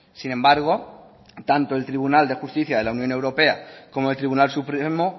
sin embargo tanto el tribunal de justicia de la unión europea como el tribunal supremo